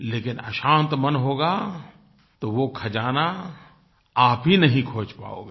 लेकिन अशांत मन होगा तो वो खज़ाना आप ही नहीं खोज पाओगे